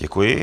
Děkuji.